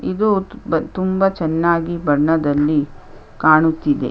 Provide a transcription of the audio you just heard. ಇದು ತುಂಬ ಚೆನ್ನಾಗಿ ಬಣ್ಣದಲ್ಲಿ ಕಾಣುತಿದೆ .